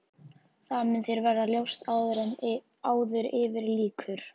Það mun þér verða ljóst áður yfir lýkur.